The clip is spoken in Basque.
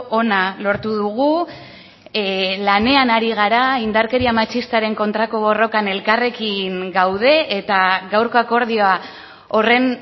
ona lortu dugu lanean ari gara indarkeria matxistaren kontrako borrokan elkarrekin gaude eta gaurko akordioa horren